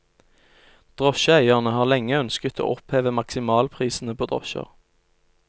Drosjeeierne har lenge ønsket å oppheve maksimalprisene på drosjer.